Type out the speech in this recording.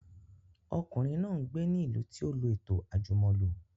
Ọmọkùnrin náà gbé ní ìlú tí ó lọ ètò àjùmọ̀lo